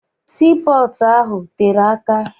Sii pọọtụ ahụ tere aka.